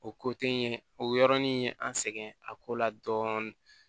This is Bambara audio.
O ko te n ye o yɔrɔnin ye an sɛgɛn a ko la dɔɔnin